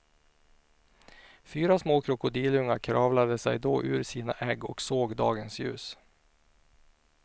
Fyra små krokodilungar kravlade sig då ur sina ägg och såg dagens ljus.